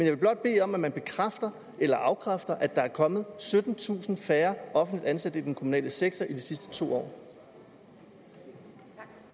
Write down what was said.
vil blot bede om at man bekræfter eller afkræfter at der er kommet syttentusind færre offentligt ansatte i den kommunale sektor i de sidste to